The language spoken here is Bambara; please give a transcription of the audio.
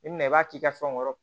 I bina i b'a k'i ka fɛnw kɔrɔ